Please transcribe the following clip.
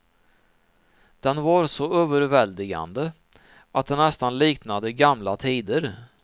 Den var så överväldigande att det nästan liknade gamla tider.